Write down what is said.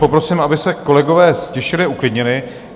Poprosím, aby se kolegové ztišili, uklidnili.